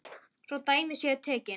Svo dæmi séu tekin.